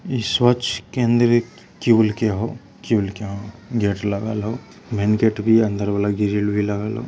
इस शौच के अंदर एक के हउ के हउ | गेट लगल हउ मैन गेट भी अंदर वाला ग्रिल भी लगल हउ ।